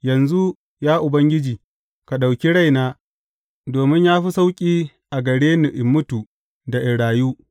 Yanzu, ya Ubangiji, ka ɗauki raina, domin ya fi sauƙi a gare ni in mutu da in rayu.